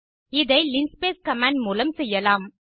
இதை linspace command மூலம் செய்யலாம்